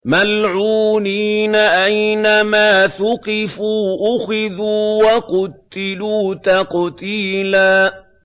مَّلْعُونِينَ ۖ أَيْنَمَا ثُقِفُوا أُخِذُوا وَقُتِّلُوا تَقْتِيلًا